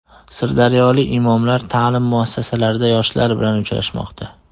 Sirdaryolik imomlar ta’lim muassasalarida yoshlar bilan uchrashmoqda.